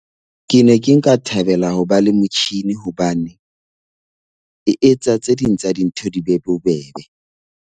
Ke ne ke nka thabela ho ba le motjhini hobane e etsa tse ding tsa dintho di be bobebe.